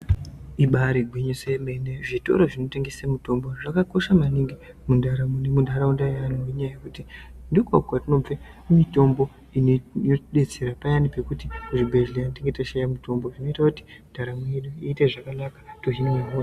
Ibari gwinyiso remene zvitoro zvinotengesa mitombo zvakakosha maningi mundaramo nemundaraunda yevanhu nenyaya yekuti ndiko kunobva mitombo inotidetsera payani pekuti kuzvibhedhlera tinenge teishaya mitombo zvinoita kuti ndaramo yedu iite zvakanaka tohinwa hosha.